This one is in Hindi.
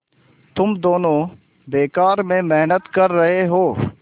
तुम दोनों बेकार में मेहनत कर रहे हो